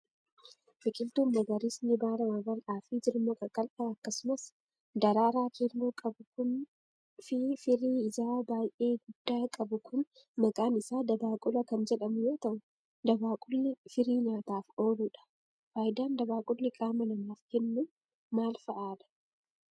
Biqiltuun magariisni baala babal'aa fi jirma qaqallaa akkasumas daraaraa keelloo qabu kun fi firii ijaa baay'ee guddaa qabu kun, maqaan isaa dabaaqula kan jedhamu yoo ta'u, dabaaqulli firii nyaataaf oolu dha. Faayidaan dabaaqulli qaama namaaf kennu maal faa dha?